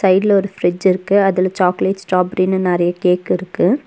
சைடுல ஒரு ஃப்ரிட்ஜ் இருக்கு அதுல சாக்லேட் ஸ்ட்ராபெரினு நெறைய கேக் இருக்கு.